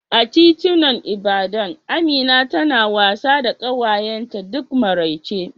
A titunan Ibadan, Amina tana wasa da ƙawayenta duk maraice